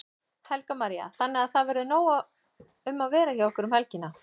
Helga María: Þannig að það verður nóg um að vera hjá ykkur um helgina?